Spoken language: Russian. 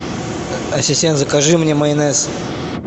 ассистент закажи мне майонез